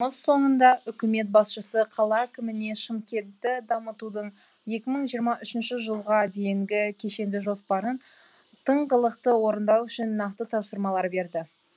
соңында үкімет басшысы қала әкіміне шымкентті дамытудың екі мың жиырма үшінші жылға дейінгі кешенді жоспарын тыңғылықты орындау үшін нақты тапсырмалар берді